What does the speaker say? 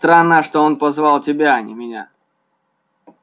странно что он позвал тебя а не меня